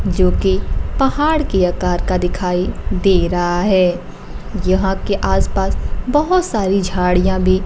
जोकि पहाड़ की आकार का दिखाई दे रहा है यहां के आस पास बहोत सारी झाड़ियां भी--